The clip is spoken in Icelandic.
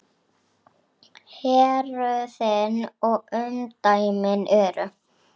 Héruðin og umdæmið eru